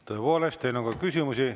Tõepoolest, teile on ka küsimusi.